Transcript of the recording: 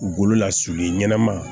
Bolola sulu ɲɛnaman